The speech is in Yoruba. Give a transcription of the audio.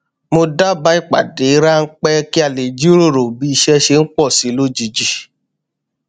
mo dabaa ipdade ranpẹ kí a lè jíròrò bí iṣé ṣe ń pò sí i lójijì